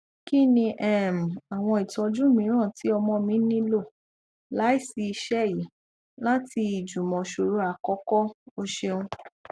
kini um awọn itọju miiran ti ọmọ mi nilo laisi iṣe yii lati ijumọsọrọ akọkọ o ṣeun